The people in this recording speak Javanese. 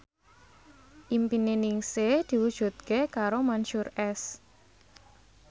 impine Ningsih diwujudke karo Mansyur S